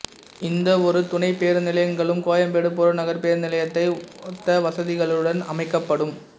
இந்த இரு துணை பேருந்து நிலையங்களும் கோயம்பேடு புறநகர் பேருந்து நிலையத்தை ஒத்த வசதிகளுடன் அமைக்கப்படும்